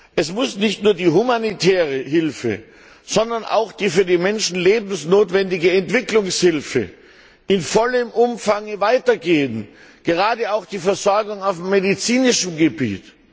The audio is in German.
Es muss nicht nur die humanitäre Hilfe, sondern auch die für die Menschen lebensnotwendige Entwicklungshilfe in vollem Umfang weitergehen, gerade auch die Versorgung auf medizinischem Gebiet.